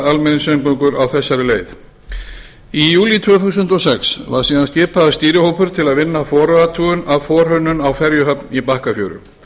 á þessari leið í júlí tvö þúsund og sex var síðan skipaður stýrihópur til að vinna forathugun og forhönnun á ferjuhöfn í bakkafjöru